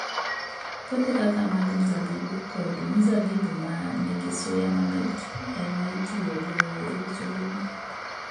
Puothe kaka mag mzabibu, kod mzabibu ma nigi suya mamit e ma itiyogo e loso lewni.